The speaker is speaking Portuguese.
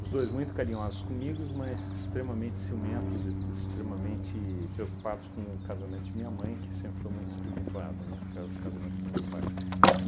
Os dois muito carinhosos comigos, mas extremamente ciumentos e extremamente preocupados com o casamento de minha mãe, que sempre foi muito tumultuado, né, causa do casamento do meu pai.